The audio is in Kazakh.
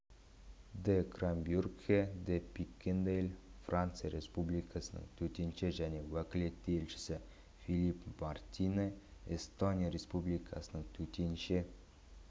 де кромбрюгхе де пикендаель франция республикасының төтенше және өкілетті елшісі филипп мартинэ эстония республикасының төтенше